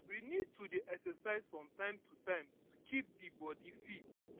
we need to dey exercise from time to time to keep di body fit